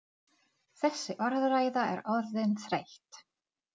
Já, við gerum það. Bless.